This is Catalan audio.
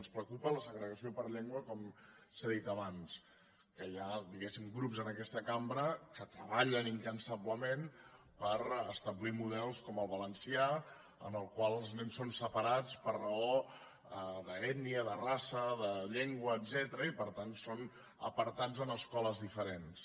ens preocupa la segregació per llengua com s’ha dit abans que hi ha diguéssim grups en aquesta cambra que treballen incansablement per establir models com el valencià en el qual els nens són separats per raó d’ètnia de raça de llengua etcètera i per tant són apartats en escoles diferents